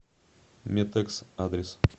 метэкс адрес